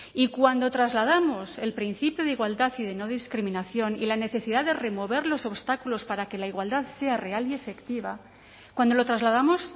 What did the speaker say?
y cuando trasladamos el principio de igualdad y de no discriminación y la necesidad de remover los obstáculos para que la igualdad sea real y efectiva cuando lo trasladamos